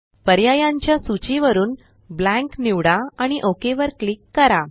पर्यायांच्या सूची वरुन ब्लँक निवडा आणि ओक वर क्लिक करा